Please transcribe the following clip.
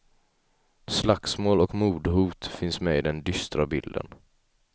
Slagsmål och mordhot finns med i den dystra bilden.